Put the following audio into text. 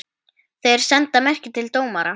Þeir senda merki til dómara.